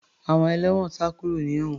Àwọn ẹlẹ́wọ̀n sá kúrò ní ewon